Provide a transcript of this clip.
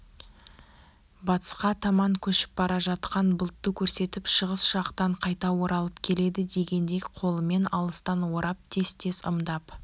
батысқа таман көшіп бара жатқан бұлтты көрсетіп шығыс жақтан қайта оралып келеді дегендей қолымен алыстан орап тез-тез ымдап